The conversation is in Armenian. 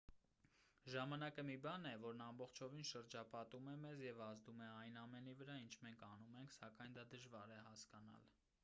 ժամանակը մի բան է որն ամբողջովին շրջապատում է մեզ և ազդում է այն ամենի վրա ինչ մենք անում ենք սակայն դա դժվար է հասկանալ